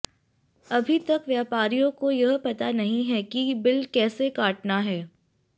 अभी तक व्यापारियों को यह पता ही नहीं है कि बिल कैसे काटना है